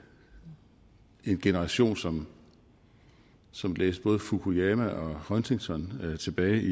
en generation som som læste både fukuyama og huntington tilbage i